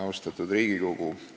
Austatud Riigikogu!